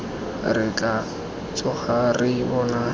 re tla tsoga re bona